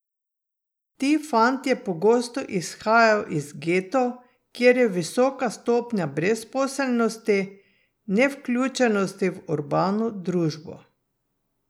Ti fantje pogosto izhajajo iz getov, kjer je visoka stopnja brezposelnosti, nevključenosti v urbano družbo.